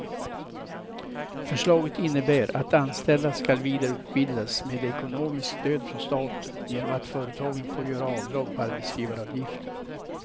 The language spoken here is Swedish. Förslaget innebär att anställda ska vidareutbildas med ekonomiskt stöd från staten genom att företagen får göra avdrag på arbetsgivaravgiften.